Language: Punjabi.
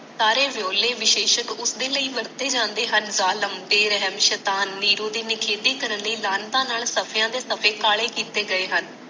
ਸਾਰੇ ਵਿਓਲੇ ਵਿਸ਼ੇਸ਼ਕ ਉਸਦੇ ਲਈ ਵਰਤੇ ਜਾਂਦੇ ਹਨ ਜਾਲਮ ਬੇਰਹਮ ਸ਼ੈਤਾਨ ਨੀਰੂ ਦੀ ਨਖੇਦੀ ਕਰਨ ਲਈ ਲਾਨਤਾਂ ਨਾਲ ਸਫ਼ਿਆਂ ਤੇ ਸਫ਼ੇ ਕਾਲੇ ਕੀਤੇ ਗਏ ਹਨ।